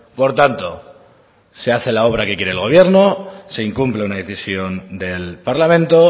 por tanto se hace la obra que quiere el gobierno se incumple una decisión del parlamento